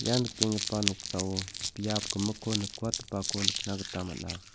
ia nikenggipa noksao biap gimikko nikwatgipako nikna gita man·a.